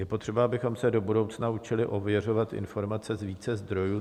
Je potřeba, abychom se do budoucna učili ověřovat informace z více zdrojů.